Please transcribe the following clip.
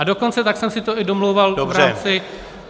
A dokonce tak jsem si to i domlouval v rámci -